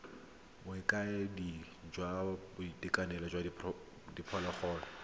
bokaedi jwa boitekanelo jwa diphologolo